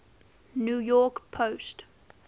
new york post